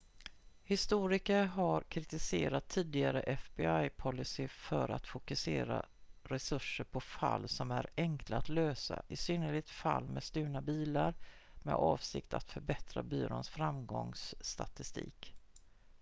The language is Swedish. historiker har kritiserat tidigare fbi-policys för att fokusera resurser på fall som är enkla att lösa i synnerhet fall med stulna bilar med avsikten att förbättra byråns framgångsstatistik